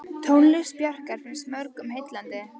Tónlist Bjarkar finnst mörgum heillandi.